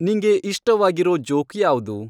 ನಿಂಗೆ ಇಷ್ಟವಾಗಿರೋ ಜೋಕ್ ಯಾವ್ದು